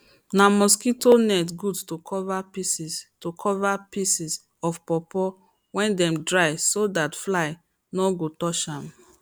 na mosquito net good to cover pieces to cover pieces of pawpaw wey dem dry so that flies no go touch am